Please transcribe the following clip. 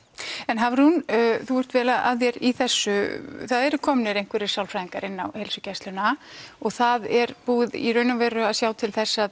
Hafrún þú ert vel að þér í þessu það eru komnir einhverjir sálfræðingar inn á heilsugæsluna og það er búið í raun og veru að sjá til þess að